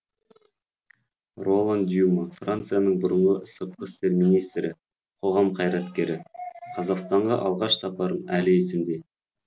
ролан дюма францияның бұрынғы сыртқы істер министрі қоғам қайраткері қазақстанға алғаш сапарым әлі есімде